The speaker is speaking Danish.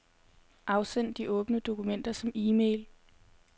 Afsend de åbne dokumenter som e-mail.